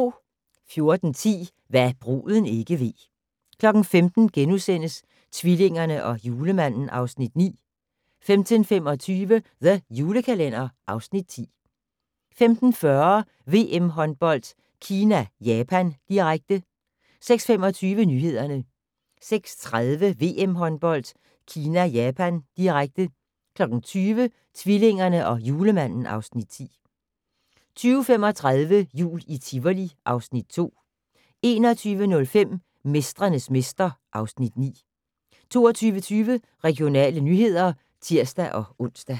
14:10: Hva' bruden ikke ved 15:00: Tvillingerne og Julemanden (Afs. 9)* 15:25: The Julekalender (Afs. 10) 15:40: VM-håndbold: Kina-Japan, direkte 16:25: Nyhederne 16:30: VM-håndbold: Kina-Japan, direkte 20:00: Tvillingerne og Julemanden (Afs. 10) 20:35: Jul i Tivoli (Afs. 2) 21:05: Mestrenes mester (Afs. 9) 22:20: Regionale nyheder (tir-ons)